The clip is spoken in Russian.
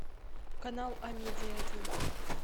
канал амедия один